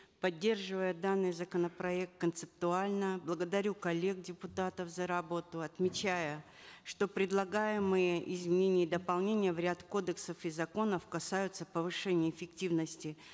поддерживая данный законопроект концептуально благодарю коллег депутатов за работу отмечая что предлагаемые изменения и дополнения в ряд кодексов и законов касаются повышения эффективности